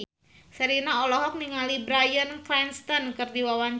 Sherina olohok ningali Bryan Cranston keur diwawancara